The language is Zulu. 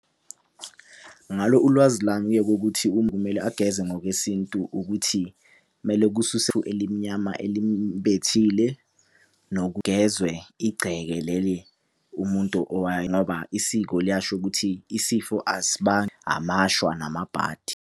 Ngalo ulwazi lami-ke kokuthi kumele ageze ngokwesintu ukuthi mele elimnyama elimubethile kugezwe igceke leli umuntu ngoba isiko liyasho ukuthi isifo amashwa namabhadi.